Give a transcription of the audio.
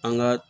An ka